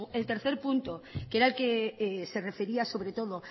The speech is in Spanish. el que se refería sobre todo